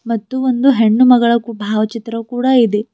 ಮತ್ತು ಒಂದು ಹೆಣ್ಣು ಮಗಳ ಕೂ ಭಾವಚಿತ್ರ ಕೂಡ ಇದೆ.